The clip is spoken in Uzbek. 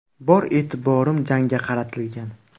Bor e’tiborim jangga qaratilgan.